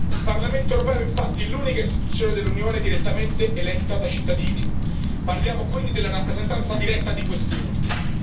Il Parlamento europeo è infatti l'unica istituzione dell'Unione direttamente eletta dai cittadini. Parliamo quindi della rappresentanza diretta di questi ultimi.